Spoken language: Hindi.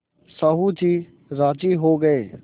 साहु जी राजी हो गये